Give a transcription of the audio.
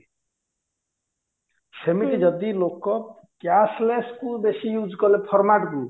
ସେମିତି ଯଦି ଲୋକ cashless କୁ ବେଶୀ use କଲେ format କୁ